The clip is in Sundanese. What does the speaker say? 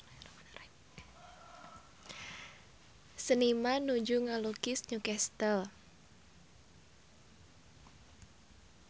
Seniman nuju ngalukis Newcastle